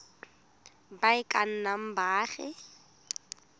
ba e ka nnang baagi